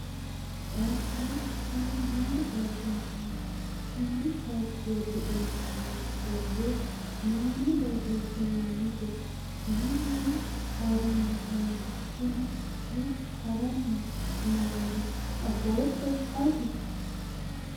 taapheellu kuni maa xawisannoho? konni taapheelli iima nooti borro mayiine borreessinoonnite? mannu haranni noohu kuni hiikka haranni noohoro afootto ati?